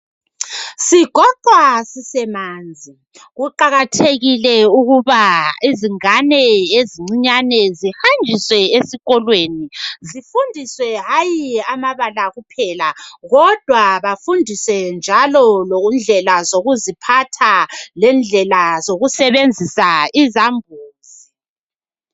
Sigoqwa sisemanzi, kuqakathekile ukuba izingane ezincinyane zihanjiswe ezikolweni zifundiswe hayi amabala kuphela kodwa bafundiswe njalo indlela zokuziphatha lendlela zokusebenzisa izambuzi.